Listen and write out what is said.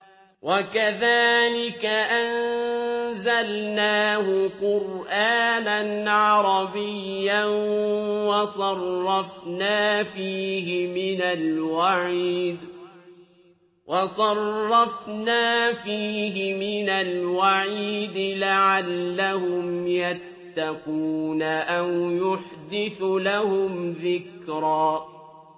وَكَذَٰلِكَ أَنزَلْنَاهُ قُرْآنًا عَرَبِيًّا وَصَرَّفْنَا فِيهِ مِنَ الْوَعِيدِ لَعَلَّهُمْ يَتَّقُونَ أَوْ يُحْدِثُ لَهُمْ ذِكْرًا